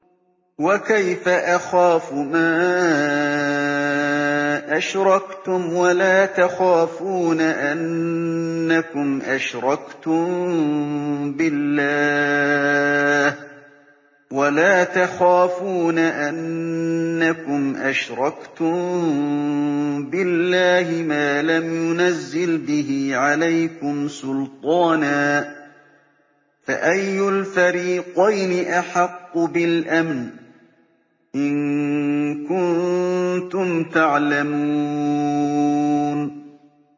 وَكَيْفَ أَخَافُ مَا أَشْرَكْتُمْ وَلَا تَخَافُونَ أَنَّكُمْ أَشْرَكْتُم بِاللَّهِ مَا لَمْ يُنَزِّلْ بِهِ عَلَيْكُمْ سُلْطَانًا ۚ فَأَيُّ الْفَرِيقَيْنِ أَحَقُّ بِالْأَمْنِ ۖ إِن كُنتُمْ تَعْلَمُونَ